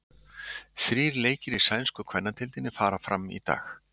Þrír leikir í sænsku kvennadeildinni fara fram í dag.